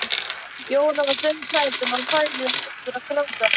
Jóra var dauðhrædd um að hún færi aftur að gráta.